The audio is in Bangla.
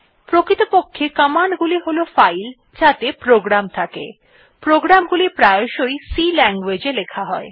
প্রকৃতপক্ষে কমান্ড গুলি হল ফাইল যাতে প্রোগ্রাম থাকে প্রোগ্রাম গুলি প্রায়শই C language ই লেখা হয়